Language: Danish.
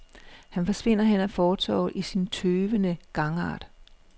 Han forsvinder hen ad fortovet i sin tøvende gangart.